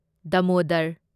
Damodar